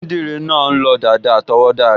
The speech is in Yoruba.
Onídìrí náà n lọ dàda àtọwọ́dá rẹ̀